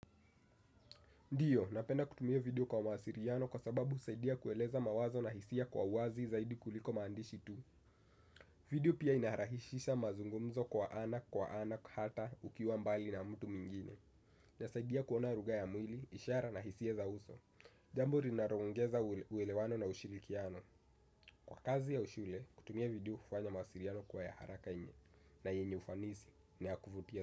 Ndiyo, napenda kutumia video kwa masiliano kwa sababu husaidia kueleza mawazo na hisia kwa uwazi zaidi kuliko maandishi tu. Video pia inarahisisha mazungumzo kwa ana kwa ana hata ukiwa mbali na mtu mwingine. Inasaidia kuona lugha ya mwili, ishara na hisia za uso. Jambo linalo ongeza uwelewano na ushirikiano. Kwa kazi ya ushule, kutumia video hufanya mawasiliano kuwa ya haraka na yenye ufanisi na yakuvutia.